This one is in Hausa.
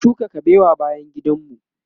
mun shuka kabewa bayan gidan mu